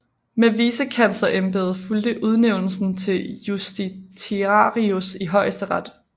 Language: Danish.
Med Vicekanslerembedet fulgte Udnævnelsen til Justitiarius i Højesteret